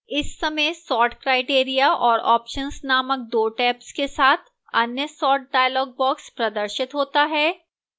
इस सयम sort criteria और options named दो tabs के साथ अन्य sort dialog box प्रदर्शित होता है